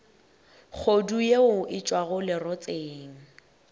kgodu yeo e tšwago lerotseng